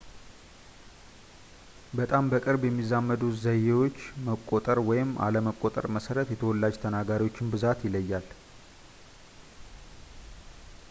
በጣም በቅርብ የሚዛመዱ ዘዬዎች መቆጠር ወይም አለመቆጠር መሠረት የተወላጅ ተናጋሪዎች ብዛት ይለያያል